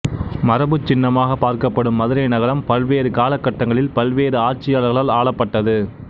மரபுச் சின்னமாகப் பார்க்கப்படும் மதுரை நகரம் பல்வேறு கால கட்டங்களில் பல்வேறு ஆட்சியாளர்களால் ஆளப்பட்டது